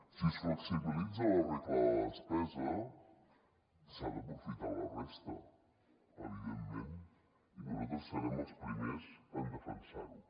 si es flexibilitza la regla de la despesa s’ha d’aprofitar la resta evidentment i nosaltres serem els primers en defensar ho